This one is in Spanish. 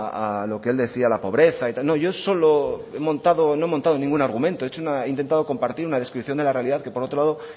a lo que él decía la pobreza y tal yo solo he montado no he montado ningún argumento he intentado compartir una descripción de la realidad que por otro lado